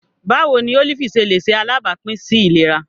Báwo ni ólífì ṣe lè ṣe alábàápín sí ìlera?